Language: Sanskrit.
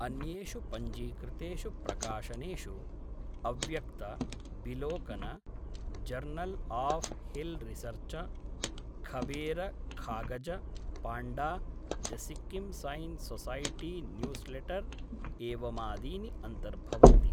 अन्येषु पञ्जीकृतेषु प्रकाशनेषु अव्यक्त, बिलोकन, जर्नल् आफ् हिल् रिसर्च, खबेर खागज, पाण्डा, the Sikkim science society newsletter एवमादीनि अन्तर्भवन्ति।